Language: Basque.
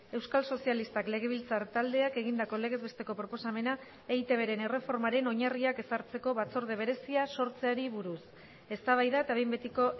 euskal sozialistak legebiltzar taldeak egindako legez besteko proposamena eitbren erreformaren oinarriak ezartzeko batzorde berezia sortzeari buruz eztabaida eta behin betiko